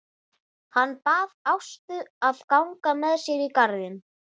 Hann bað Ástu að ganga með sér í garðinn.